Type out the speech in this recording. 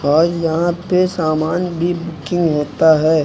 और यहां पे सामान भी बुकिंग होता है।